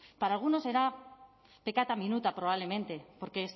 para alguno será peccata minuta probablemente porque